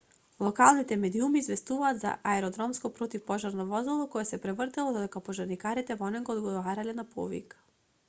локалните медиуми известуваат за аеродромско противпожарно возило кое се превртело додека пожарникарите во него одговарале на повик